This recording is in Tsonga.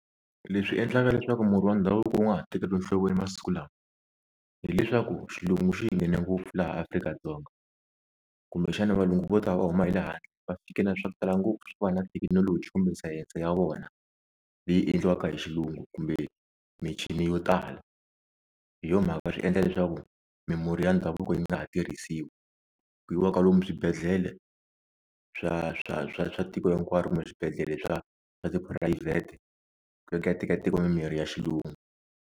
Leswi endlaka leswaku murhi wa ndhavuko wu nga ha tekeriwi enhlokweni masiku lawa hileswaku xilungu xi hi nghene ngopfu laha Afrika-Dzonga, kumbexana valungu vo ta va huma hi le handle va fike na le swa ku tala ngopfu swo va na thekinoloji kumbe sayense ya vona leyi endliwaka hi xilungu kumbe michini yo tala, hi yo mhaka swi endla leswaku mimurhi ya ndhavuko yi nga ha tirhisiwi, ku yiwaka lomu swibedhlele swa swa swa swa tiko hinkwaro kumbe swibedhlele swa swa tiphurayivhete ku ya ku ya tekiwa mimirhi ya xilungu.